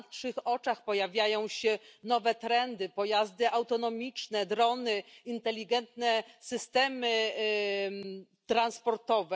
Na naszych oczach pojawiają się nowe trendy, pojazdy autonomiczne, drony, inteligentne systemy transportowe.